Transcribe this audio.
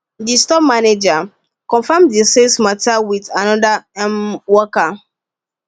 d store manager confirm the sales matter with another um worker